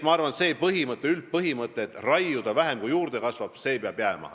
Ma arvan, see üldpõhimõte, et raiuda tuleb vähem, kui juurde kasvab, peab jääma.